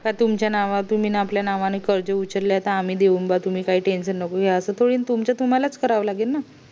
का तुमच्या नावातून तुम्ही आपल्या नावातून कर्ज उचलाय त आम्ही देऊन बा तुम्ही काय टेन्शन नको घेऊ असं थोडी ये तुमचं तुम्हला च करावं लागेल ना